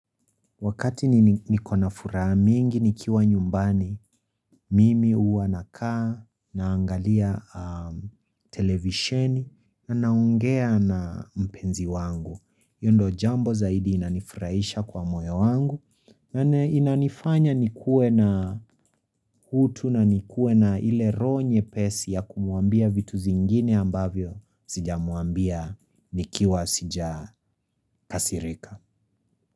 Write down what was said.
Wakati nikona furaha mingi nikiwa nyumbani, mimi huwa nakaa naangalia televisheni na naongea na mpenzi wangu. Hiyo ndio jambo zaidi inanifurahisha kwa moyo wangu. Inanifanya nikuwe na utu na nikuwe na ile roho nyepesi ya kumwambia vitu zingine ambavyo sijamwambia nikiwa sijakasirika.